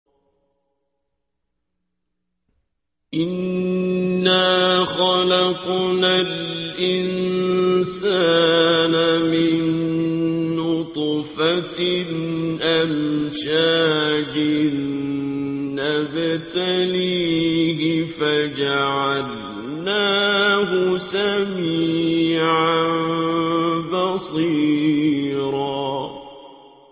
إِنَّا خَلَقْنَا الْإِنسَانَ مِن نُّطْفَةٍ أَمْشَاجٍ نَّبْتَلِيهِ فَجَعَلْنَاهُ سَمِيعًا بَصِيرًا